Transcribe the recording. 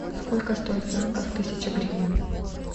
сколько стоит в франках тысяча гривна